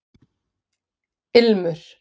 Ilmur